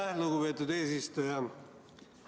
Aitäh, lugupeetud eesistuja!